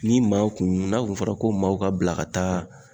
Ni maaw kun n'a kun fɔra ko maaw ka bila ka taa